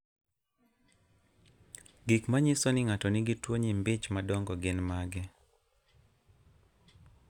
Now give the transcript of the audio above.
Gik manyiso ni ng'ato nigi tuwo nyimbi ich madongo gin mage?